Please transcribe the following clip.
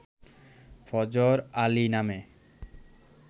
ফজর আলী নামে